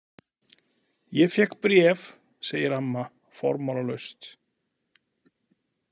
Ég fékk bréf, segir amma formálalaust.